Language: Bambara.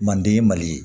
Manden mali ye